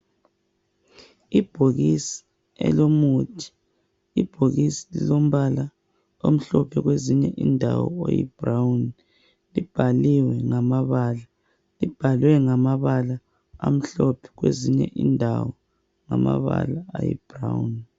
Ibhokisi elomuthi ibhokisi lilombala omhlophe kwezinye indawo uyibrown libhaliwe ngamabala libhalwe ngamabala amhlophe kwezinye indawo ngamabala ayi brown.